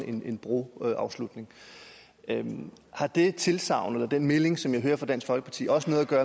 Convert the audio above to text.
en broafslutning har det tilsagn eller den melding som jeg hører fra dansk folkeparti også noget at gøre